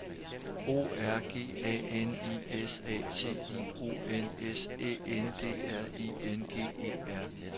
O R G A N I S A T I O N S Æ N D R I N G E R